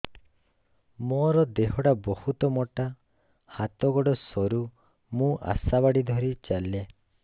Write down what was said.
ମୋର ଦେହ ଟା ବହୁତ ମୋଟା ହାତ ଗୋଡ଼ ସରୁ ମୁ ଆଶା ବାଡ଼ି ଧରି ଚାଲେ